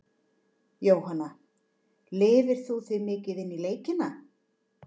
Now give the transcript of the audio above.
Jóhanna: Lifir þú þig mikið inn í leikina?